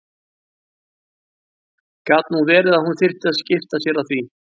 Gat nú verið að hún þyrfti að skipta sér af því!